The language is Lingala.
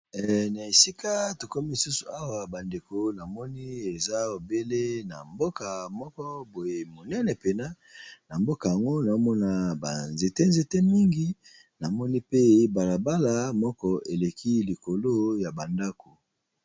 Na esika tokomi lisusu awa ba ndeko namoni eza obele na mboka moko boye monene pena, na mboka yango nao mona ba nzete-nzete mingi namoni pe bala bala moko eleki likolo ya ba ndako.